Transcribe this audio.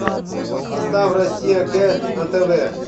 поставь россия к на тв